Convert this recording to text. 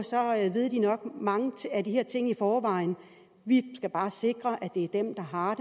ved de nok mange af de her ting i forvejen vi skal bare sikre at det er dem der har